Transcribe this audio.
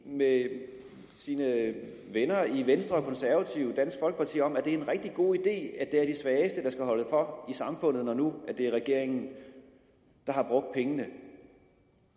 med sine venner i venstre konservative og dansk folkeparti om at det er en rigtig god idé at det er de svageste der skal holde for i samfundet når nu det er regeringen der har brugt pengene